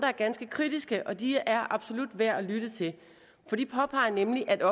er ganske kritiske og de er absolut værd at lytte til for de påpeger nemlig at